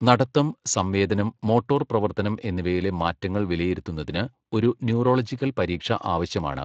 നടത്തം, സംവേദനം, മോട്ടോർ പ്രവർത്തനം എന്നിവയിലെ മാറ്റങ്ങൾ വിലയിരുത്തുന്നതിന് ഒരു ന്യൂറോളജിക്കൽ പരീക്ഷ ആവശ്യമാണ്.